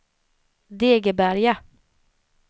Degeberga